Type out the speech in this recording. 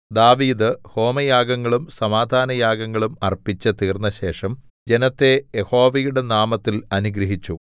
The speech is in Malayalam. ദാവീദ് ഹോമയാഗങ്ങളും സമാധാനയാഗങ്ങളും അർപ്പിച്ച് തീർന്നശേഷം ജനത്തെ യഹോവയുടെ നാമത്തിൽ അനുഗ്രഹിച്ചു